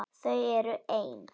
Þau eru ein.